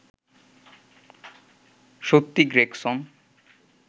সত্যি গ্রেগসন